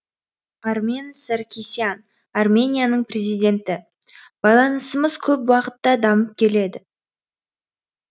армен саркисян арменияның президенті байланысымыз көп бағытта дамып келеді